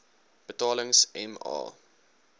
betalings m a